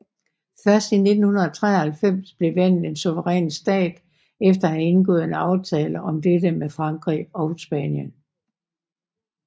Først i 1993 blev landet en suveræn stat efter at have indgået en aftale om dette med Frankrig og Spanien